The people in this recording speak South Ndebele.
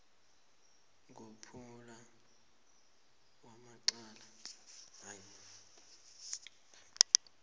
ngomphumela wecala lakhe